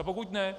A pokud ne...